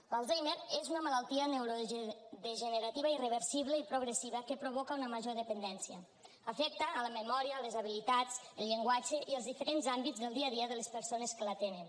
l’alzheimer és una malaltia neurodegenerativa irreversible i progressiva que provoca una major dependència afecta la memòria les habilitats el llenguatge i els diferents àmbits del dia a dia de les persones que la tenen